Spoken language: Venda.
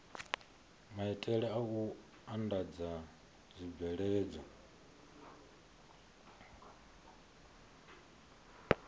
maitele a u andadza zwibveledzwa